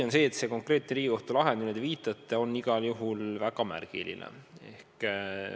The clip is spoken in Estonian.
On tõsi, et konkreetne Riigikohtu lahend, millele te viitate, on igal juhul väga märgiline.